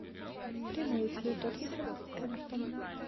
прямой эфир тоттенхэма с эвертоном